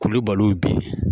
Kulubaliw bɛ yen